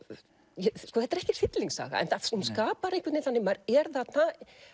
þetta er ekki hryllingssaga hún skapar einhvern veginn þannig að maður er þarna